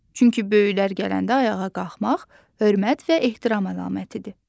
Çünki böyüklər gələndə ayağa qalxmaq hörmət və ehtiram əlamətidir.